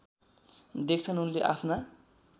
देख्छन् उनले आफ्ना